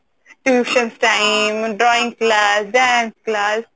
Tuition time drawing class dance class